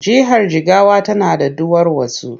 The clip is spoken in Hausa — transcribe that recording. Jihar Jigawa tana da duwarwatsu.